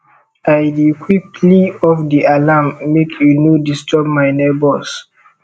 i dey quickly off di alarm make e no disturb my nebors